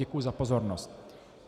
Děkuji za pozornost.